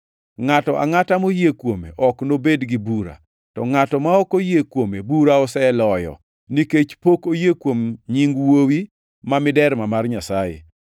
Ngʼato angʼata moyie kuome ok nobed gi bura. To ngʼat ma ok oyie kuome bura oseloyo, nikech pok oyie kuom nying Wuowi ma miderma mar Nyasaye.